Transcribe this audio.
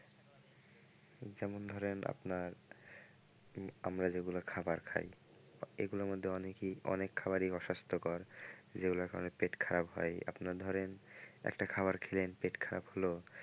যেমন ধরেন আপনার আমরা যেগুলা খাবার খায় এগুলোর মধ্যে অনেক খাবার অস্বাস্থ্যকর যেগুলো খেলে পেট খারাপ হয় আপনার ধরেন একটা খাবার খেলেন পেট খারাপ হলো।